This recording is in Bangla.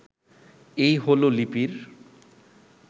এই হলো লিপির